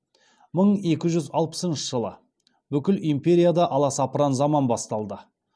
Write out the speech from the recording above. мың екі жүз алпысыншы жылы бүкіл империяда аласапыран заман басталды